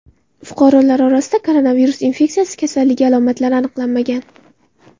Fuqarolar orasida koronavirus infeksiyasi kasalligi alomatlari aniqlanmagan.